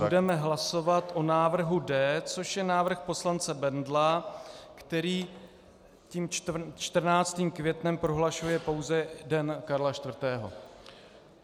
Budeme hlasovat o návrhu D, což je návrh poslance Bendla, který tím 14. květnem prohlašuje pouze Den Karla IV.